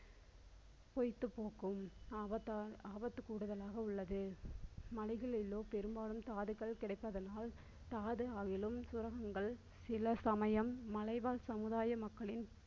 பொய்த்து போகும் ஆபத்து~ ஆபத்து கூடுதலாக உள்ளது. மலைகளிலோ பெரும்பாலும் தாதுக்கள் கிடைப்பதனால் தாது ஆகிலும் சுரங்கங்கள் சில சமயம் மலைவாழ் சமுதாய மக்களே